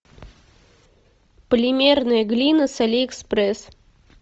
полимерная глина с али экспресс